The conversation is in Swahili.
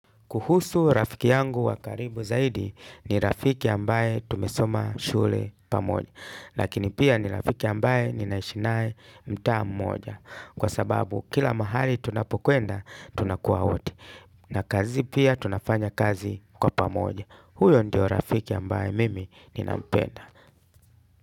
Kuhusu rafiki yangu wa karibu zaidi ni rafiki ambaye tumesoma shule pamoja. Lakini pia ni rafiki ambaye ninaishi naye mtaa mmoja. Kwa sababu kila mahali tunapokwenda, tunakuwa wote. Na kazi pia tunafanya kazi kwa pamoja. Huyo ndio rafiki ambaye mimi ninapenda.